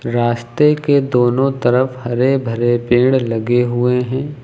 रास्ते के दोनों तरफ हरे भरे पेड़ लगे हुए हैं।